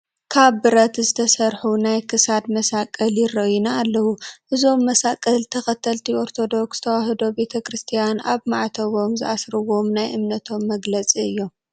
ካብ ብረት ዝተሰርሑ ናይ ክሳድ መሳቕል ይረአዩና ኣለዉ፡፡ እዞም መሳቕል ተኸተልቲ ኦርቶዶክስ ተዋሀዶ ክርስቲያን ኣብ ማዕተቦም ዝኣስርዎም ናይ እምነቶም መግለፂ እዮም፡፡